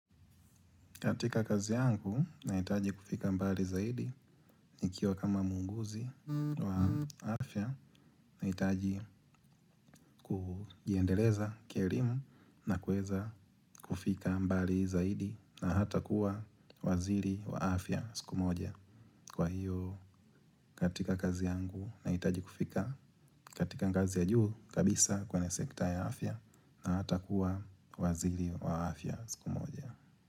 Katika kazi yangu naitaji kufika mbali zaidi nikiwa kama muuguzi wa afya naitaji kujiendeleza kierimu na kueza kufika mbali zaidi na hata kuwa waziri wa afya siku moja. Kwa hiyo katika kazi yangu naitaji kufika katika ngazi ya juu kabisa kwenye sekta ya afya na hata kuwa waziri wa afya siku moja.